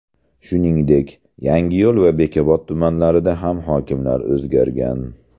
Shuningdek, Yangiyo‘l va Bekobod tumanlarida ham hokimlar o‘zgargan .